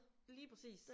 Lige præcis